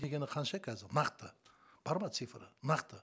дегені қанша қазір нақты бар ма цифрі нақты